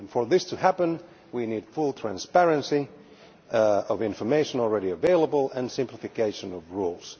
For this to happen, we need full transparency of the information already available and simplification of the rules.